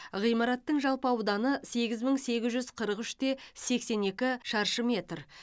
ғимараттың жалпы ауданы сегіз мың сегіз жүз қырық үш те сексен екі шаршы метр